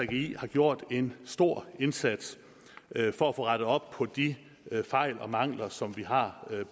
gggi har gjort en stor indsats for at få rettet op på de fejl og mangler som vi har